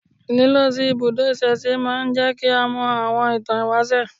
Lílọ sí ibùdó ìsẹ̀se máa ń jẹ́ kí a mọ àwọn ìtàn ìwáṣẹ̀